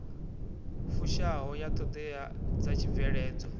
fushaho ya ṱhoḓea dza tshibveledzwa